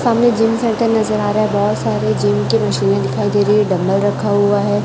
सामने gym centre नजर आ रहा है बहोत सारे जिम की मशीनें दिखाई दे रही है डंबल रखा हुआ हैं।